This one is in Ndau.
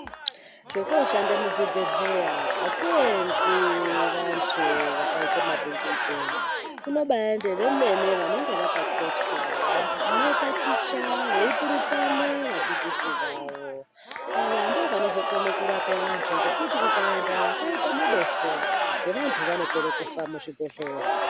Zvekoshande muzvibhedhleya hakuendi vantu vakaite mabungumupee. Kunobaende vemene vanonga vakaketwa vanotaticha veipurutane vadzidzisi vavo. Ava ndovanozokone kurape vantu ngekuti kukaenda vakaita madofo nevantu vanopera kufa muzvibhedhleya.